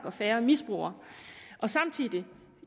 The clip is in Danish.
og færre misbrugere